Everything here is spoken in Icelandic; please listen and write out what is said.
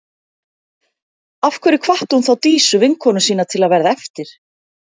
Af hverju hvatti hún þá Dísu, vinkonu sína, til að verða eftir?